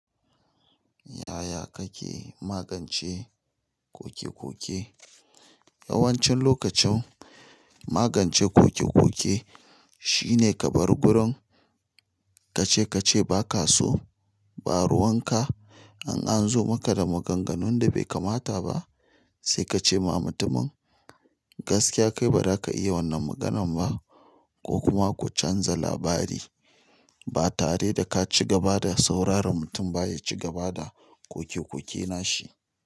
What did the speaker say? Yaya kake magance kokekoke? Yawancin lokacin magance kokekoke shine ka bar gurin. Ka ce ka ce ba ka so, ba ruwan ka. In an zo maka da maganganun da bai kamata ba sai ka ce ma mutumin gaskiya kai ba za ka iya wannan maganan ba ko kuma ku canza labari. Ba tare da ka ci gaba da sauraron mutum ba ya ci gaba da kokekoke nashi.